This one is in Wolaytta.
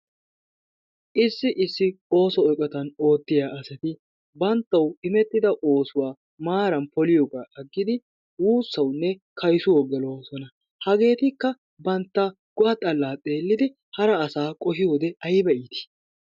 Issi issi ooso eqottan oottiyaa asatti banttawu imettidda oosuwaa maaran poliyoogga agiddi wuusawunne kayssuwawu gelossona, hageettikka bantta go'a xallaa xeelidi hara asa qohiyoode ayibba iitti.